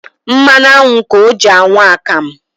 Mmanụ aṅụ ka ọ jị anwụ akamụ